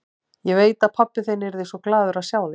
Ég veit að pabbi þinn yrði svo glaður að sjá þig.